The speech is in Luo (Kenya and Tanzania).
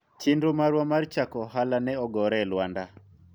chenro marwa mar chako ohala ne ogore e lwanda